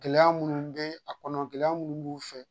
Gɛlɛya minnu bɛ a kɔnɔ gɛlɛya minnu b'u fɛ